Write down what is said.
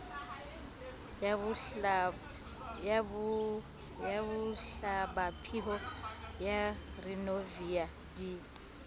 ya bohlabaphio ya rivonia di